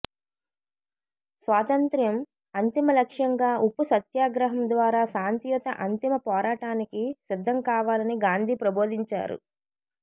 స్వాతంత్య్రం అంతిమ లక్ష్యంగా ఉప్పు సత్యాగ్రహం ద్వారా శాంతియుత అంతిమ పోరాటానికి సిద్ధంకావాలని గాంధీ ప్రబోధించారు